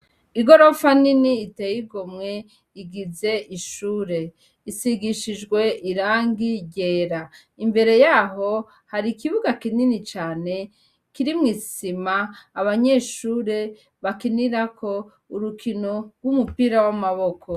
Igorofa nini iteye igomwe igize ishure, isigishijwe irangi ryera, imbere yaho hari ikibuga kinini cane kirimwo isima abanyeshure bakinirako urukino rw'umupira w'amaboko.